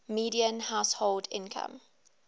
median household income